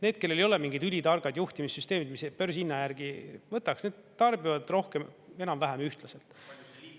Need, kellel ei ole mingid ülitargad juhtimissüsteemid, mis börsihinna järgi võtaks, need tarbivad rohkem enam-vähem ühtlaselt.